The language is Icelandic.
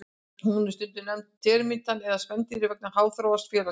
Hún er stundum nefnd termítinn meðal spendýranna vegna háþróaðs félagslífs.